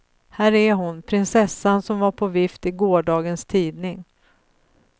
Här är hon, prinsessan som var på vift i gårdagens tidning.